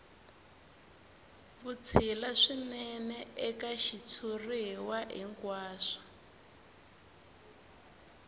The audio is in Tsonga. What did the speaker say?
vutshila swinene eka xitshuriwa hinkwaxo